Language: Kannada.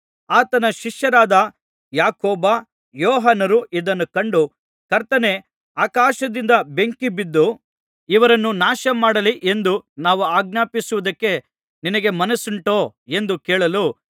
ಆತನ ಶಿಷ್ಯರಾದ ಯಾಕೋಬ ಯೋಹಾನರು ಇದನ್ನು ಕಂಡು ಕರ್ತನೇ ಆಕಾಶದಿಂದ ಬೆಂಕಿಬಿದ್ದು ಇವರನ್ನು ನಾಶ ಮಾಡಲಿ ಎಂದು ನಾವು ಆಜ್ಞಾಪಿಸುವುದಕ್ಕೆ ನಿನಗೆ ಮನಸ್ಸುಂಟೋ ಎಂದು ಕೇಳಲು